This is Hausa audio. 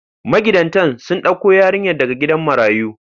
Magidantan sun ɗauko yarinyar daga gidan marayu.